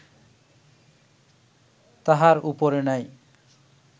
তাহার উপরে নাই